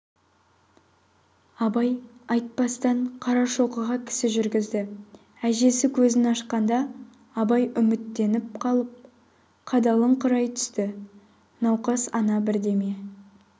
абайға айтпастан қарашоқыға кісі жүргізді әжесі көзін ашқанда абай үміттеніп қалып қадалыңқырай түсті науқас ана бірдеме